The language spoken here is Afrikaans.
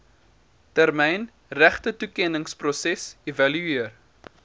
termyn regtetoekenningsproses evalueer